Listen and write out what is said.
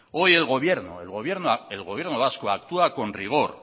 hoy el gobierno vasco actúa con rigor